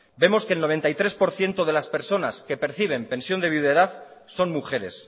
vemos que el noventa y tres por ciento de las personas que perciben pensión de viudedad son mujeres